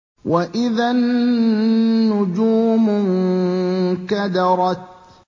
وَإِذَا النُّجُومُ انكَدَرَتْ